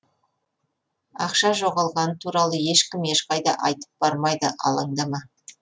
ақша жоғалғаны туралы ешкім ешқайда айтып бармайды алаңдама